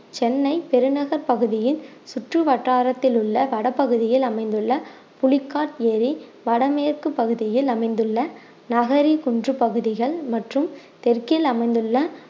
சென்னை பெருநகர பகுதியின் சுற்றுவட்டாரத்தில் உள்ள வடபகுதியில் அமைந்துள்ள புலிகாட் ஏரி வடமேற்கு பகுதியில் அமைந்துள்ள நகரி குன்று பகுதிகள் மற்றும் தெற்கில் அமைந்துள்ள